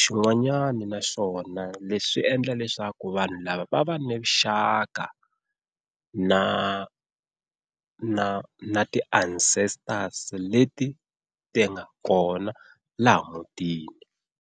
Xin'wanyana naswona leswi swi endla leswaku vanhu lava va va na vuxaka na na na ti-ancestors leti ti nga kona laha mutini.